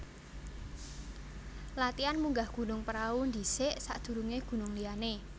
Latian munggah Gunung Prau ndhisik sak durunge gunung liyane